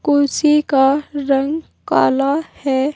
कुर्सी का रंग काला है।